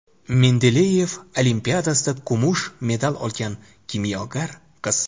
Mendeleyev olimpiadasida kumush medal olgan kimyogar qiz.